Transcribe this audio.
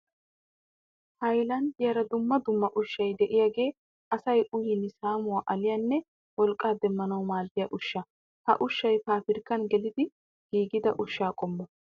hayilanddiyaara dumma dumma ushshay diyaagee asaa uyin saamuwa aliyaanne wolqqaa demmanawu maaddiya ushsha. Ha ushshay pabrikkan gelidi giigida oshsha qommuwa.